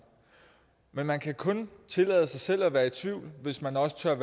men man kan kun tillade sig selv at være i tvivl hvis man også tør